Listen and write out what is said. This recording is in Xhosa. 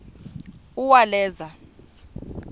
uwaleza